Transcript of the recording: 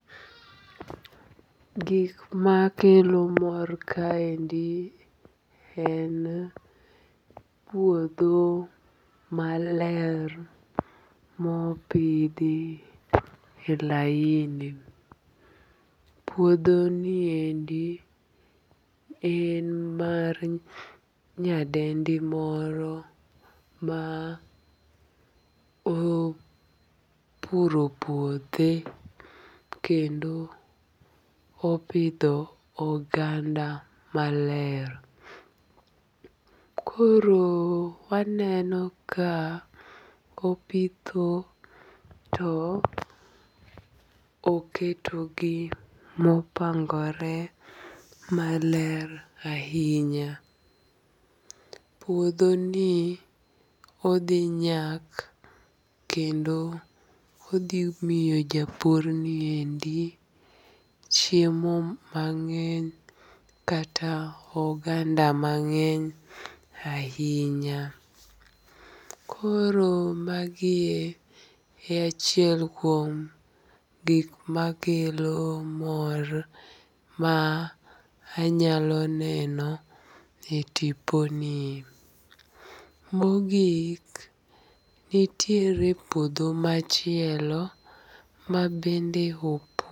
Gik makelo mor kaendi en puodho maler mopidhi e laini, puodhoniendi en mar nyadendi moro ma opuro puothe kendo opidho oganda maler, koro waneno ka opidho to oketogi mopangore maler ahinya, puodhoni odhi nyak kendo odhimiyo japurni endi chiemo mang'eny kata oganda mang'eny ahinya, koro magie e achiel kuom gik makelo mor ma anyalo neno e tiponie, mogik nitiere puodho machielo ma bende.